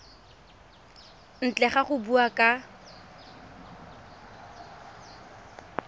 ntle ga go bua ka